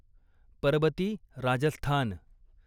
Parbati Rajasthan